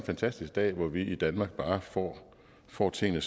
fantastisk dag hvor vi i danmark bare får får tingene